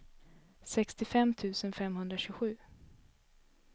sextiofem tusen femhundratjugosju